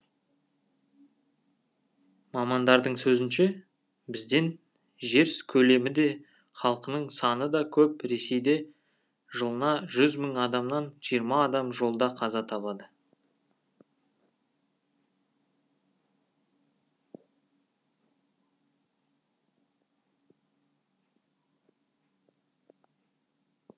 мамандардың сөзінше бізден жез көлемі де халқының саны да көп ресейде жылына жүз мың адамнан жиырма адам жолда қаза табады